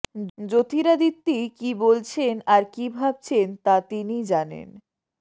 জ্যোতিরাদিত্যি কী বলছেন আর কী ভাবছেন তা তিনি জানেন